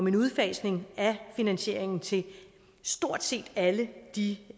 en udfasning af finansieringen til stort set alle de